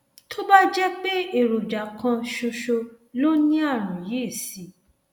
tó bá jẹ pé èròjà kan ṣoṣo lo ní ààrùn yìí sí